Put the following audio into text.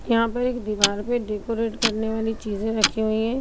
यहाँ पे एक दिवार पर डेकोरेट करने वाली चीज़े रखी हुई है।